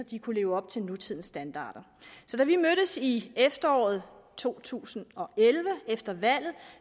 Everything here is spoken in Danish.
de kunne leve op til nutidens standarder så da vi mødtes i efteråret to tusind og elleve efter valget